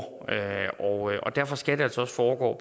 derfor skal det altså også foregå